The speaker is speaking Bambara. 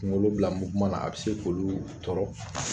Kungolo bila muweman na a bi se k'olu tɔrɔ